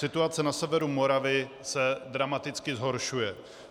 Situace na severu Moravy se dramaticky zhoršuje.